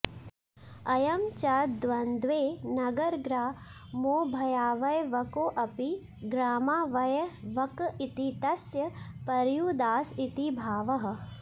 अयं च द्वन्द्वे नगरग्रामोभयावयवकोऽपि ग्रामावयवक इति तस्य पर्युदास इति भावः